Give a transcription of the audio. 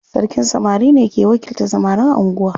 Sarkin samari ne ke wakiltan samarin anguwa.